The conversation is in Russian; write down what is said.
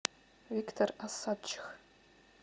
виктор осадчих